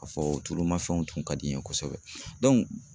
K'a fɔ tulumafɛnw tun ka di n ye kosɛbɛ